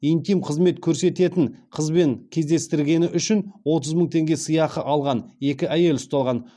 интим қызмет көрсететін қызбен кездестіргені үшін отыз мың теңге сыйақы алған екі әйел ұсталған